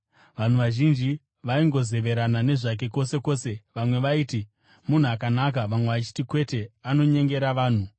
Vanhu vazhinji vaingozeverana nezvake kwose kwose. Vamwe vaiti, “Munhu akanaka,” vamwe vachiti, “Kwete, anonyengera vanhu.”